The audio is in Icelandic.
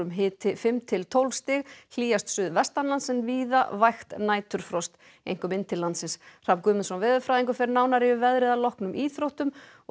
hiti fimm til tólf stig hlýjast suðvestanlands en víða vægt næturfrost einkum inn til landsins Hrafn Guðmundsson veðurfræðingur fer nánar yfir veðrið að loknum íþróttum og